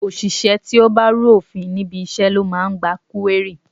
Òṣìṣẹ́ ti ó bá rú òfin níbi iṣẹ́ ló máa ń gba kúérì.